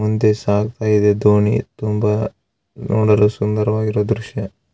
ಮುಂದೆ ಸಾಗ್ತಾ ಇದೆ ದೋಣಿ ತುಂಬಾ ನೋಡಲು ಸುಂದರವಾಗಿರುವ ದ್ರಶ್ಯ.